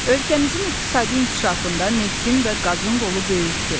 Ölkəmizin iqtisadi inkişafında neftin və qazın rolu böyükdür.